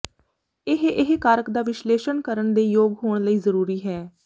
ਇਹ ਇਹ ਕਾਰਕ ਦਾ ਵਿਸ਼ਲੇਸ਼ਣ ਕਰਨ ਦੇ ਯੋਗ ਹੋਣ ਲਈ ਜ਼ਰੂਰੀ ਹੈ